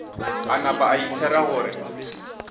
a napa a ithera gore